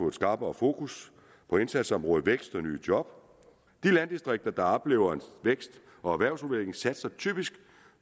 et skarpere fokus på indsatsområdet vækst og nye job de landdistrikter der oplever vækst og erhvervsudvikling satser typisk